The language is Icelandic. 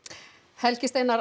Helgi Steinar